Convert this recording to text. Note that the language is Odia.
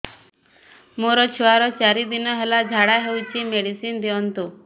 ମୋର ଛୁଆର ଚାରି ଦିନ ହେଲା ଝାଡା ହଉଚି ମେଡିସିନ ଦିଅନ୍ତୁ